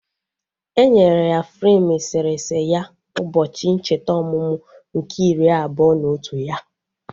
Enyere ya freim eserese ya ụbọchị ncheta ọmụmụ nke iri abụọ na otu ya